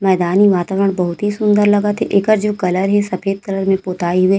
मैदानी वातावरण बहुत ही सुन्दर लगत थे एकर जो कलर हे सफ़ेद कलर में पोताई हुए।